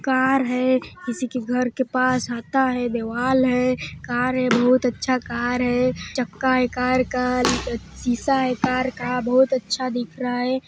Car है किसी के घर के पास हाता है दॆवाल है कार है बहुत अच्छा कार है चक्का है कार का शीशा है कार का बहुत अच्छा दिख रहा हैं।